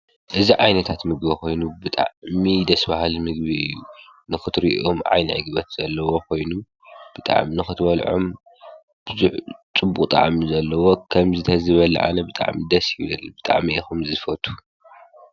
እዚ ዓይነታት ምግቢ ብጣዕሚ ጥዑምን ደስ በሃልን እዩ ብጣዕሚ ከዓ ደስ ይብለኒ።